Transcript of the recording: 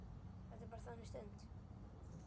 Þetta er bara þannig stund.